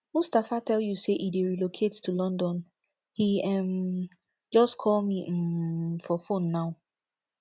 mustapha tell you say he dey relocate to london he um just call me um for phone now